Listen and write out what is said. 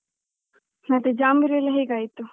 ಮತ್ತೆ ಜಾಂಬೂರೆಲ್ಲ ಹೇಗೆ ಆಯ್ತು?